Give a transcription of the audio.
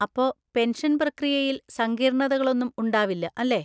അപ്പൊ, പെൻഷൻ പ്രക്രിയയിൽ സങ്കീർണതകളൊന്നും ഉണ്ടാവില്ല അല്ലേ?